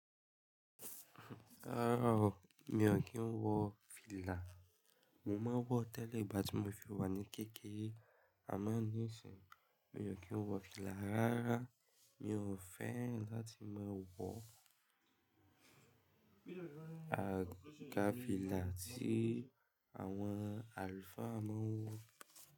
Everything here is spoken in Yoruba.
Rárá o, mi ò kí ń wọ fìlà. Mo máa wọ tẹ́lẹ̀ ìgbà tí mo fi wà ní kékeré àmá níìsín, mi ò kí ń wọ fìlà. Rárá, mi ò fẹ́ran láti máa wọ àga fìlà tí àwọn àlùfáà máa ń wọ.